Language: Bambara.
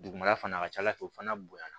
Dugumala fana a ka ca ala fɛ o fana bonya na